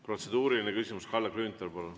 Protseduuriline küsimus, Kalle Grünthal, palun!